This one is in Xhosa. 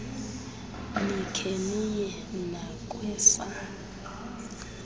nikhe niye nakwesa